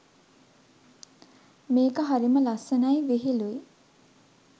මේක හරිම ලස්සනයි විහිලුයි